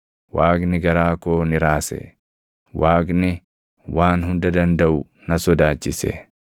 Waaqni garaa koo ni raase; Waaqni Waan Hunda Dandaʼu na sodaachise.